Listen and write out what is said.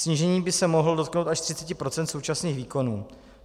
Snížení by se mohlo dotknout až 30 % současných výkonů.